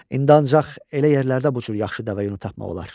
İndi ancaq elə yerlərdə bu cür yaxşı dəvə yunu tapmaq olar.